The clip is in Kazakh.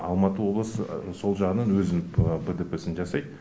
алматы облысы сол жағынан өзінің бтп сын жасайды